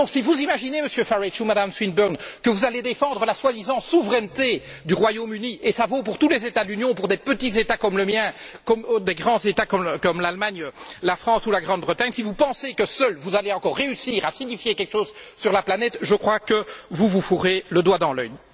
Et si vous vous imaginez, Monsieur Farage ou Madame Swinburne, que vous allez défendre la soi disant souveraineté du Royaume Uni et ça vaut pour tous les États de l'Union, pour des petits États comme le mien, pour des grands États comme l'Allemagne, la France ou la Grande Bretagne si vous pensez que, seuls, vous allez encore réussir à signifier quelque chose sur la planète, je crois que vous vous fourrez le doigt dans l'œil.